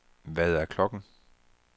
Hvad er klokken